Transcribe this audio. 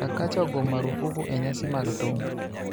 Chakacha ogo marufuku e nyasi mag thum